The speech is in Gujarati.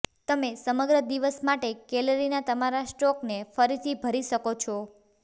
તમે સમગ્ર દિવસ માટે કેલરીના તમારા સ્ટોકને ફરીથી ભરી શકો છો